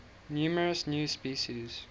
numerous new species